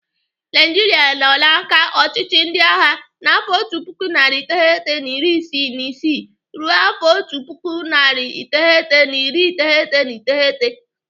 Naijiria nọ n'aka ọchịchị ndị agha n'afọ otu puku narị iteghete na iri isii na isii ruo afọ otu puku, narị iteghete na iri iteghete na iteghete.